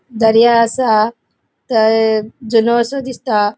दर्या असा. थय जुनो असो दिसता.